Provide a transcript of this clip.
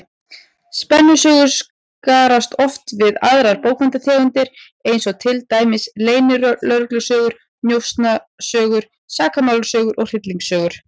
Spennusögur skarast oft við aðrar bókmenntategundir, eins og til dæmis leynilögreglusögur, njósnasögur, sakamálasögur og hryllingssögur.